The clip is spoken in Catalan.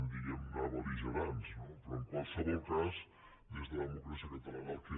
diguem ne bel·ligerants no però en qualsevol cas des de democràcia catalana el que